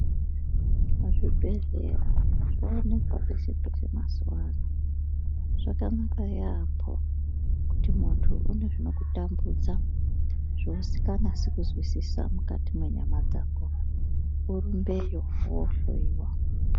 Zvibhedhleya zvooneka pese pese mazuva ano . Zvakanaka yaambo kuti muntu une zvinokurambudza zvausinganasi kuzwisisa mukati mendaramo yako munyama dzako urumbeyo wohloiwa .